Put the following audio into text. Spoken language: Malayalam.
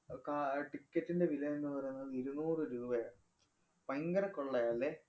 അഹ് കാ~ അഹ് ticket ന്‍റെ വില എന്ന് പറയുന്നത് ഇരുന്നൂറ് രൂപയാണ്. ഭയങ്കര കൊള്ളയാ ല്ലേ?